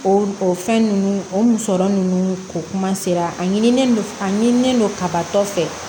O o fɛn ninnu o musɔrɔ nunnu ko kuma sera a ɲinilen don a ɲinilen don kabatɔ fɛ